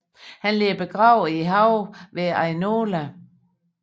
Han ligger begravet i haven ved Ainola